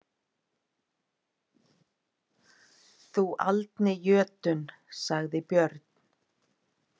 Þú aldni jötunn, sagði Björn.